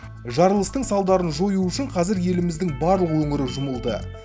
жарылыстың салдарын жою үшін қазір еліміздің барлық өңірі жұмылды